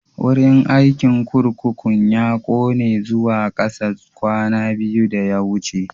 Wurin aikin kurkukun ya ƙone zuwa kasa kwana biyu da ya wuce.